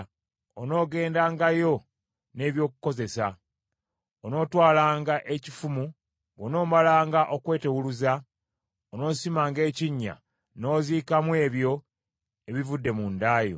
Onoogendangayo n’eby’okukozesa. Onootwalanga ekifumu, bw’onoomalanga okweteewuluza onoosimanga ekinnya n’oziikamu ebyo ebivudde mu nda yo.